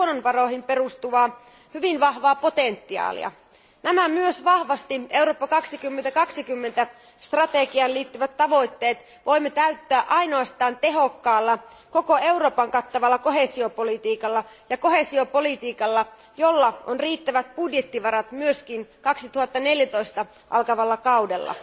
luonnonvaroihin perustuvaa hyvin vahvaa potentiaalia. Nämä myös vahvasti Eurooppa 2020 strategiaan liittyvät tavoitteet voimme täyttää ainoastaan tehokkaalla, koko Euroopan kattavalla koheesiopolitiikalla, jolla on riittävät budjettivarat myös 2014 alkavalla kaudella.